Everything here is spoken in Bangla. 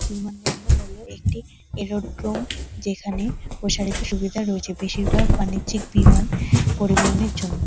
বিমানবন্দর হলো একটি এরোড্রোম যেখানে প্রসারিত সুবিধা রয়েছে। বেশিরভাগ বাণিজ্যিক বিমান পরিবহনের জন্য ।